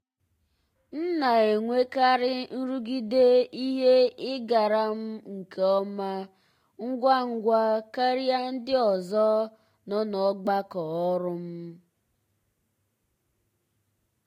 m na-enwekarị nrụgide ihe ịgara m nke ọma ngwa ngwa karịa ndị ọzọ nọ n'ọgbakọ ọrụ m.